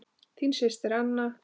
Þín systir, Anna.